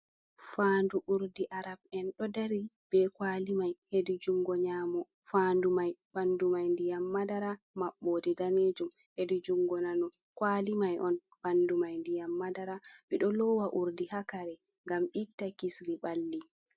"Faadu urdi" arab'en ɗo dari be kwali mai hedi jungo nyamo faadu mai ɓandu mai ndiyam madara maɓɓode danejum, hedi jungo nano kwali mai on ɓandu mai ndiyam madara, ɓedo lowa urdi haa kare ngam itta kisiri ɓalli.